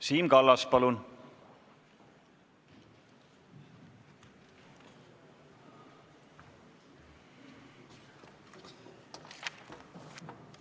Siim Kallas, palun!